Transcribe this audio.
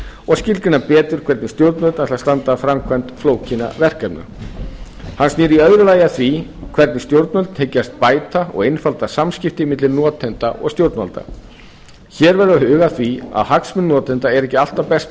og skilgreina betur hvernig stjórnvöld ætla að standa að framkvæmd flókinna verkefna hann snýr í öðru lagi að því hvernig stjórnvöld hyggjast bæta og einfalda samskipti milli notenda og stjórnvalda hér verður að huga að því að hagsmunir notenda eru ekki alltaf best